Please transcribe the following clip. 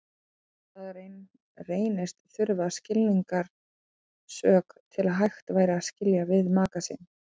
Annars staðar reynist þurfa skilnaðarsök til að hægt væri að skilja við maka sinn.